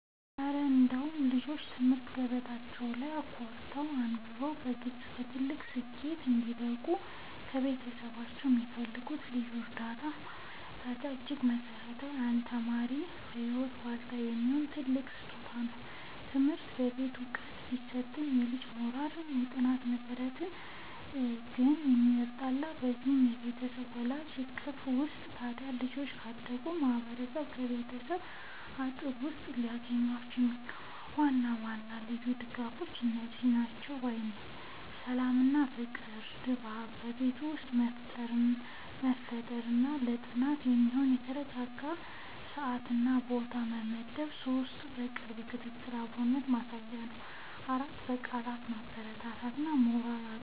እረ እንደው ልጆች በትምህርት ገበታቸው ላይ ኮርተው፣ አብበውና በልጽገው ለትልቅ ስኬት እንዲበቁ ከቤተሰቦቻቸው የሚፈልጉት ልዩ እርዳታና ማበረታቻማ እጅግ መሠረታዊና ለአንድ ተማሪ የህይወት ዋልታ የሚሆን ትልቅ ስጦታ ነው! ትምህርት ቤት ዕውቀት ቢሰጥም፣ የልጁ የሞራልና የጥናት መሠረት ግን የሚጣለው እዚያው በቤቱ በወላጆቹ እቅፍ ውስጥ ነው። ታዲያ ልጆች ካደጉበት ማህበረሰብና ከቤተሰብ አጥር ውስጥ ሊያገኟቸው የሚገቡ ዋና ዋና ልዩ ድጋፎች እነዚህ ናቸው ባይ ነኝ፦ 1. የሰላምና የፍቅር ድባብ በቤት ውስጥ መፍጠር 2. ለጥናት የሚሆን የተረጋጋ ሰዓትና ቦታ መመደብ 3. የቅርብ ክትትልና አብሮነት ማሳየት 4. በቃላት ማበረታታት እና የሞራል አቅም መሆን